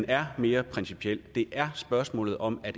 er mere principielt og det er spørgsmålet om